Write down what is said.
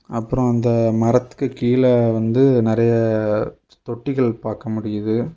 அப்புறம் அந்த மரத்துக்கு கீழ வந்து நறைய தொட்டிகள் பாக்க முடியுது.